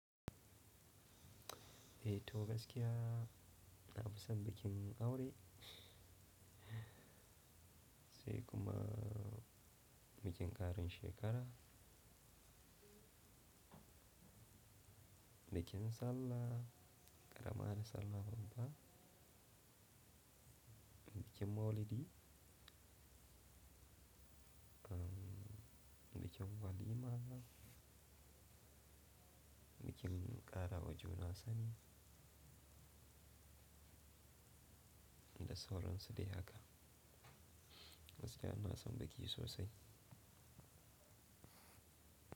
Eh toh gaskiya, nafi san bikin aure sai kuma bikin ƙarin shekara, bikin sallah, ƙaramar sallah babba, bikin maulidi, umm, bikin walima, bikin ƙara wa juna sani, da sauran su dai haka. Gaskiya in na san biki sosai.